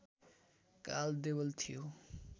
काल देवल थियो